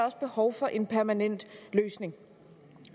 også behov for en permanent løsning